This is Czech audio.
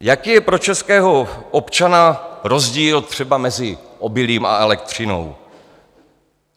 Jaký je pro českého občana rozdíl třeba mezi obilím a elektřinou?